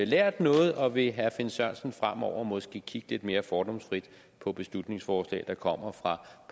lært noget og vil herre finn sørensen fremover måske kigge lidt mere fordomsfrit på beslutningsforslag der kommer fra